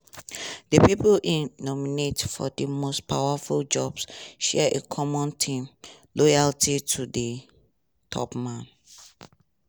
di pipo e nominate for di most powerful jobs share a common theme – loyalty to di top man.